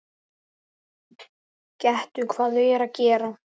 Gettu hvað þau eru að gera?